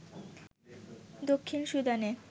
দক্ষিণ সুদানে